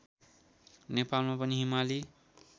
नेपालमा पनि हिमाली